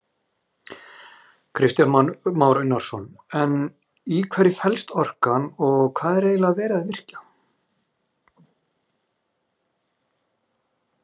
Kristján Már Unnarsson: En í hverju fellst orkan og hvað er eiginlega verið að virkja?